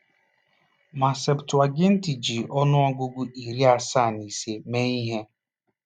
Ma Septụaginti ji ọnụọgụgụ iri asaa na ise mee ihe.